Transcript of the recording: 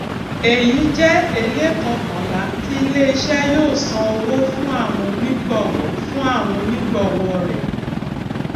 èyí jé ẹléèkọkànlá tí ilé iṣé yóò san owó fún àwọn onígbòwó fún àwọn onígbòwó rè